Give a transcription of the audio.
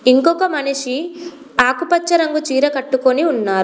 ఇంకొక మనిషి ఆకుపచ్చ రంగు చీర కట్టుకొని ఉన్నారు.